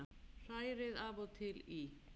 Hrærið af og til í.